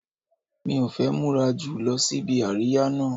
Mi ò fẹ́ múra jù lọ síbi àríyá náà